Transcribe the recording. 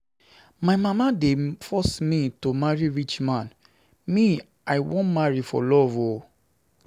My mama dey force me to marry rich man, me I wan marry for love o.